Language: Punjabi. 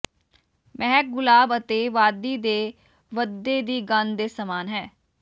ਮਹਿਕ ਗੁਲਾਬ ਅਤੇ ਵਾਦੀ ਦੇ ਵਧਦੇ ਦੀ ਗੰਧ ਦੇ ਸਮਾਨ ਹੈ